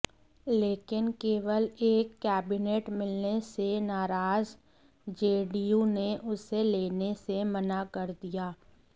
लेकिन केवल एक कैबिनेट मिलने से नाराज जेडीयू ने उसे लेने से मना कर दिया